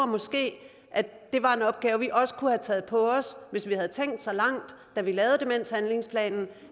måske var en opgave vi også kunne have taget på os hvis vi havde tænkt så langt da vi lavede demenshandlingsplanen